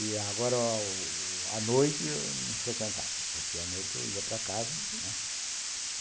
E agora, à noite, eu não frequentava, porque à noite eu ia para casa, né, uhum.